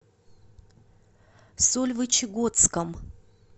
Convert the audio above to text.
сольвычегодском